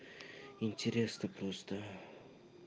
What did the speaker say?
интересно просто